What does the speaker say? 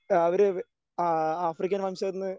അവര് ആ ആഫ്രിക്കൻ വംശജരിൽ നിന്ന്